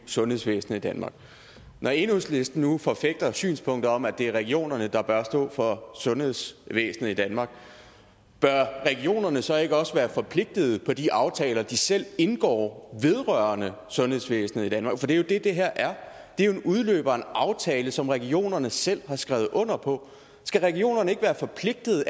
sundhedsvæsenet i danmark når enhedslisten nu forfægter synspunktet om at det er regionerne der bør stå for sundhedsvæsenet i danmark bør regionerne så ikke også være forpligtet på de aftaler de selv indgår vedrørende sundhedsvæsenet i danmark for det er jo det det her er det er jo en udløber af en aftale som regionerne selv har skrevet under på skal regionerne ikke være forpligtet